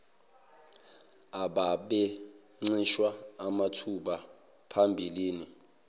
ababencishwe amathuba phambilini